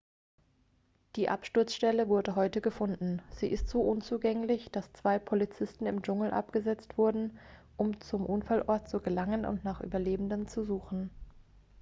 die absturzstelle wurde heute gefunden sie ist so unzugänglich dass zwei polizisten im dschungel abgesetzt wurden um zum unfallort zu gelangen und nach überlebenden zu suchen